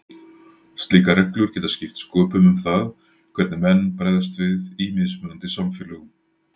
Slíkar reglur geta skipt sköpum um það hvernig menn bregðast við í mismunandi samfélögum.